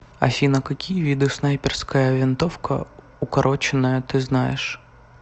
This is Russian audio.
афина какие виды снайперская винтовка укороченная ты знаешь